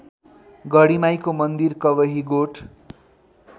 गढीमाईको मन्दिर कवहीगोठ